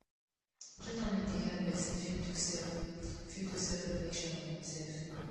journaling dey help person fit do self fit do self reflection on im self